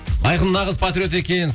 айқын нағыз патриот екен